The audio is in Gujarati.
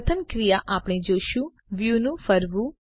પ્રથમ ક્રિયા આપણે જોશું વ્યુ નું ફરવું